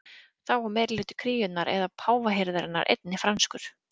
þá var meirihluti kúríunnar eða páfahirðarinnar einnig franskur